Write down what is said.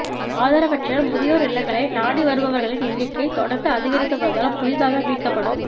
ஆதரவற்ற முதியோா் இல்லங்களை நாடி வருபவா்களின் எண்ணிக்கை தொடா்ந்து அதிகரித்து வருவதால் புதிதாக மீட்கப்படும்